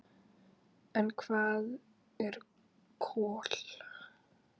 En hvað eru kol?